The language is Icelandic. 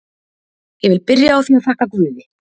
Ég vil byrja á því að þakka guði.